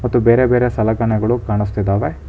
ಮತ್ತು ಬೇರೆ ಬೇರೆ ಸಲಕನಗಳು ಕಾಣಿಸ್ತಿದ್ದಾವೆ.